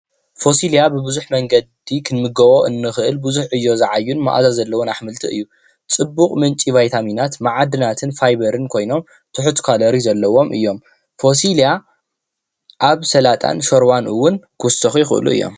ፎሲላ ብቡዙሕ መንገዲ ክንምገቦ እንክእል ብዙሕ ዕዮ ዝዓዮ ማዓዛ ዘሎዎ አሕምልትን ፅቡቅ ምንጪ ቫይታምን ማዕድናትን ፋቨርን ኮይኖም ትሑት ካሎር ዘለዎም እዮም። ፎሲላ ኣብ ሳላጣ ሽርባን እውን ክውሰኮ ይክእሉ እዮም።